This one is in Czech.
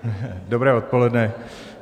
Dobré odpoledne.